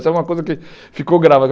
Isso é uma coisa que ficou grave.